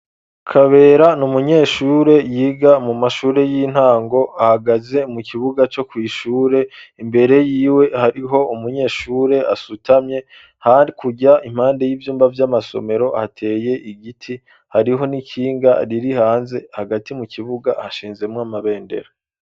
kayobera ni umunyeshure yiga mu mashure y'intango ahagaze mu kibuga , co kwishure, imbere yiwe hariho umunyeshure asutamye hakurya , impande y'ivyumba vy'amasomero hateye igiti , hariho n'ikinga riri hanze , hagati mu kibuga hashinzemw 'amabendera